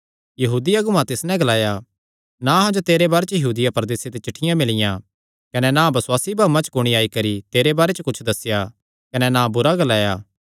यहूदी अगुआं तिस नैं ग्लाया ना अहां जो तेरे बारे च यहूदिया प्रदेसे ते चिठ्ठियां मिलियां कने ना बसुआसी भाऊआं च कुणी आई करी तेरे बारे च कुच्छ दस्सेया कने ना बुरा ग्लाया